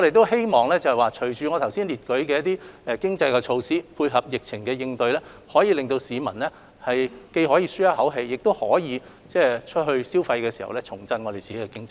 希望隨着推行剛才列舉的一些經濟措施，配合疫情應對，既可令市民舒一口氣，亦可吸引他們外出消費，重振香港經濟。